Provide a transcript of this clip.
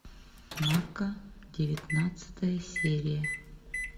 нарко девятнадцатая серия